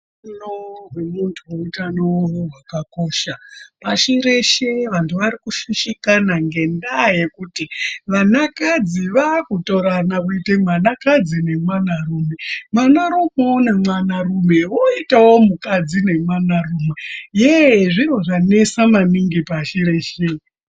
Hutano hwemuntu hutano hwakakosha pashi reshe vantu vari kushushikana ngendaa yekuti vana kadzi vakutorana kuite mwanakadzi nemwanarume. Mwanarumevo nemwanarume voitavo mukadzi nemwanarume yee zviro zvanesa maningi pashi reshe.